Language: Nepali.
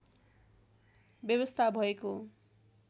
व्यवस्था भएको